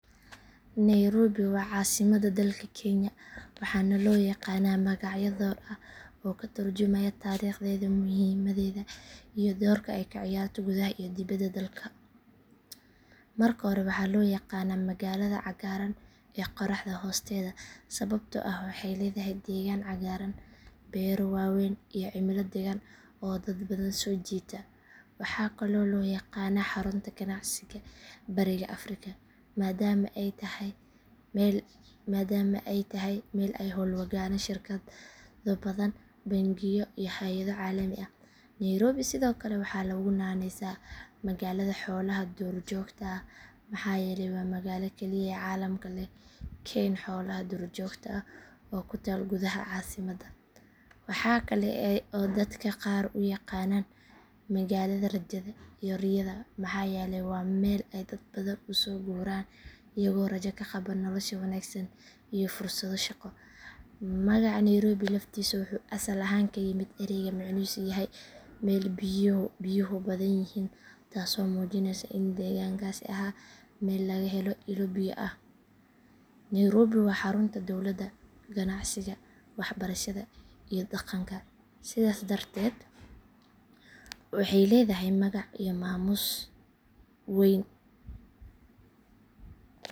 Nairobi waa caasimadda dalka kenya waxaana loo yaqaanaa magacyo dhowr ah oo ka tarjumaya taariikhdeeda, muhiimaddeeda iyo doorka ay ka ciyaarto gudaha iyo dibadda dalka. Marka hore waxaa loo yaqaanaa magaalada cagaaran ee qorraxda hoosteeda sababtoo ah waxay leedahay deegaan cagaaran, beero waaweyn iyo cimilo daggan oo dad badan soo jiidata. Waxaa kaloo loo yaqaanaa xarunta ganacsiga bariga afrika maadaama ay tahay meel ay ka hawlgalaan shirkado badan, bangiyo iyo hay’ado caalami ah. Nairobi sidoo kale waxaa lagu naanaysaa magaalada xoolaha duurjoogta ah maxaa yeelay waa magaalada keliya ee caalamka leh kayn xoolaha duurjoogta ah oo ku taal gudaha caasimad. Waxaa kale oo dadka qaar u yaqaanaan magaalada rajada iyo riyada maxaa yeelay waa meel ay dad badan u soo guuraan iyagoo rajo ka qaba nolosha wanaagsan iyo fursado shaqo. Magaca nairobi laftiisa wuxuu asal ahaan ka yimid eray macnihiisu yahay meel biyuhu badan yihiin taasoo muujinaysa in deegaankaasi ahaa meel laga helo ilo biyo ah. Nairobi waa xarunta dowladda, ganacsiga, waxbarashada iyo dhaqanka sidaas darteed waxay leedahay magac iyo maamuus weyn.